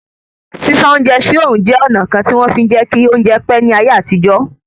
Sísá oúnjẹ sí òòrùn jẹ́ ọ̀nà kan tí wọ́n fí ń jẹ́ kí oúnjẹ pẹ́ ní ayé àtijọ́